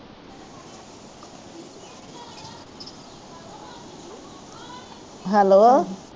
hello